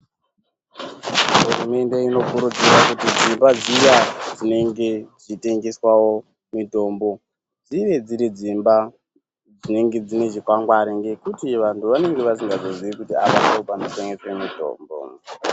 Hurumende ino kurudzirwa kuti dzimba dziya dzino tengeserwa mitombo dzinge dziri dzimba dzinenge dzine chikwangwari ,nekuti vantu vanenge vasingazozivi kuti apa ndopano tengeswa mutombo.